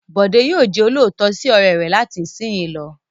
Bọ̀dé yóò jẹ olóòótọ́ sí ọ̀rẹ́ rẹ̀ láti ìsìnyí lọ.